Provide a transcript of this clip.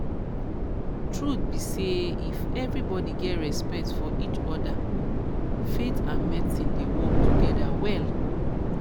truth be say if everybody get respect for each other faith and medicine dey work together well